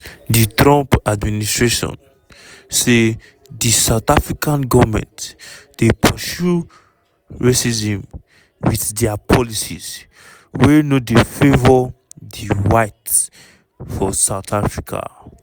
di trump administration say di south african goment dey pursue racism wit dia policies wey no dey favour di-whites for south africa.